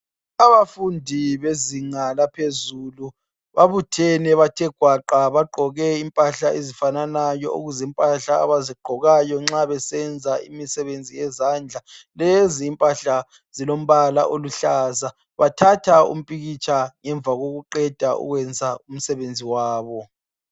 abafundi bezinga laphezulu babuthene bathe gwaqa bagqoke impahla ezifananayo ukuzimpahla abazigqokayo nxa besenza imisebenzi yezandla lezi impahla zilombala oluhlaza bathatha umpikitsha ngemva kokuqeda ukwenza umsebenzi wabo